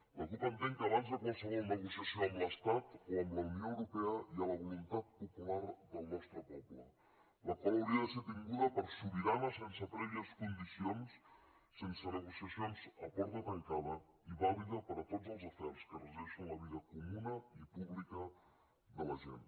la cup entén que abans de qualsevol negociació amb l’estat o amb la unió europea hi ha la voluntat popular del nostre poble la qual hauria de ser tinguda per sobirana sense prèvies condicions sense negociacions a porta tancada i vàlida per a tots els afers que regeixen la vida comuna i pública de la gent